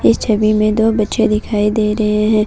इस छवि में दो बच्चे दिखाई दे रहे हैं।